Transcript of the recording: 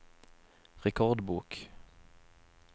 rekordbok